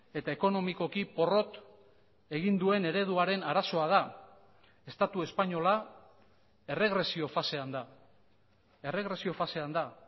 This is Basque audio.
eta ekonomikoki porrot egin duen ereduaren arazoa da estatu espainola erregresio fasean da erregresio fasean da